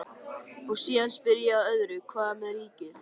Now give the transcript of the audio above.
Og síðan spyr ég að öðru, hvað með ríkið?